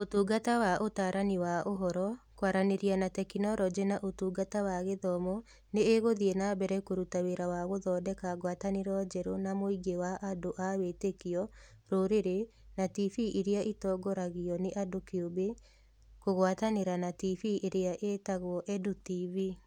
Ũtungata wa Ũtaarani wa Ũhoro, Kwaranĩria na Teknoroji na Ũtungata wa Gĩthomo nĩ ĩgũthiĩ na mbere kũruta wĩra wa gũthondeka ngwatanĩro njerũ na mũingĩ wa andũ a wĩtĩkio, rũrĩrĩ, na TV iria itongoragio nĩ andũ kĩũmbe, kũgwatanĩra na TV iria iĩtagwo EDU TV.